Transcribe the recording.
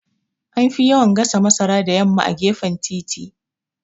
Anfi yawan gasa masara da yamma a gefen titi